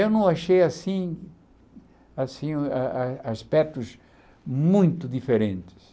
Eu não achei assim, assim, a a aspectos muito diferentes.